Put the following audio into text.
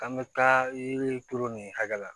K'an bɛ taa yiri turu nin hakɛ la